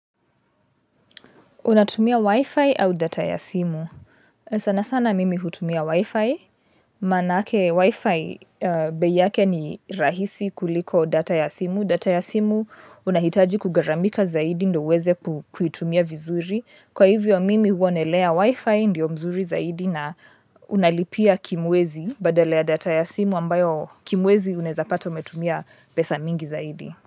Unatumia Wi-Fi au data ya simu? Sana sana mimi hutumia Wi-Fi. Manake Wi-Fi bei yake ni rahisi kuliko data ya simu. Data ya simu unahitaji kugharamika zaidi ndio uweze kuitumia vizuri. Kwa hivyo mimi huonelea Wi-Fi ndio mzuri zaidi na unalipia kimwezi badala data ya simu ambayo kimwezi unaweza pata umetumia pesa mingi zaidi.